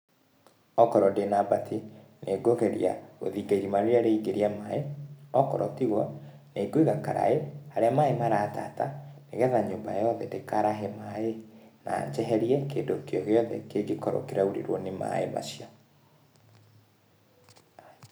Okorwo ndĩna mbati, nĩngũgeria gũthinga irima rĩrĩa rĩraingĩria maaĩ, okorwo tigwo, ningũiga karaĩ, harĩa maaĩ maratata, nĩgetha nyũmba yothe ndĩkaarahe maaĩ, na njeherie kĩndũ kĩogĩothe kĩngĩkorũo kĩraurĩrwo nĩ maaĩ macio.